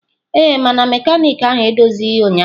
Ee, mana mekaniki ahụ edozighị ya ụnyaahụ.